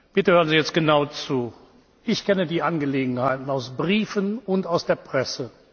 Bitte hören Sie jetzt genau zu Ich kenne die Angelegenheit aus Briefen und aus der Presse.